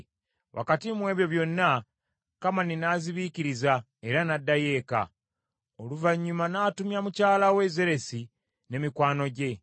Wakati mu ebyo byonna Kamani n’azibiikiriza era n’addayo eka. Oluvannyuma n’atumya mukyala we Zeresi ne mikwano gye,